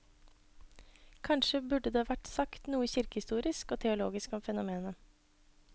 Kanskje burde det vært sagt noe kirkehistorisk og teologisk om fenomenet.